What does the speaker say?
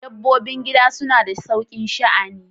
Dabbobin gida suna da saukin sha'ani.